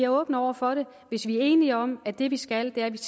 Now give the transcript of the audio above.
åbne over for det hvis vi er enige om at det vi skal er